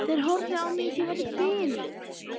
Þeir horfðu á mig eins og ég væri biluð.